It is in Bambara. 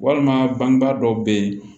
Walima bangebaa dɔw be ye